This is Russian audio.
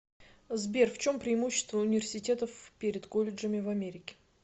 сбер в чем преимущество университетов перед колледжами в америке